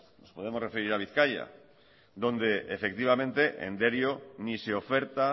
nos podemos referir a bizkaia donde efectivamente en derio ni se oferta